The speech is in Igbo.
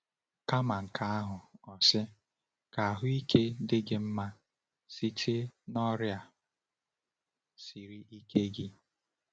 Kama nke ahụ, o sị: “Ka ahụike dị gị mma site n’ọrịa siri ike gị.”